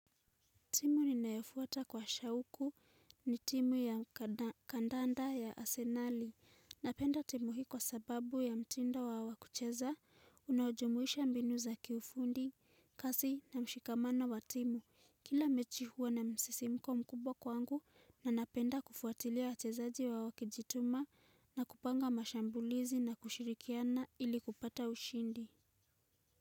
Timu ninayofuata kwa shauku ni timu ya kandanda ya asenali. Napenda timu hii sababu ya mtindo wa kucheza, unaojumuisha mbinu za kiufundi, kasi na mshikamano wa timu. Kila mechi huwa na msisimko mkubwa kwangu, na napenda kufuatilia wachezaji wakijituma na kupanga mashambulizi na kushirikiana ili kupata ushindi.